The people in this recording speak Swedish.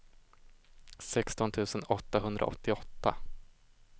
sexton tusen åttahundraåttioåtta